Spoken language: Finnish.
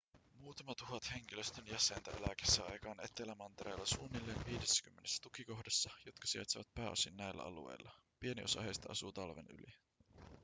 muutama tuhat henkilöstön jäsentä elää kesäaikaan etelämantereella suunnilleen viidessäkymmenessä tukikohdassa jotka sijaitsevat pääosin näillä alueilla pieni osa heistä asuu talven yli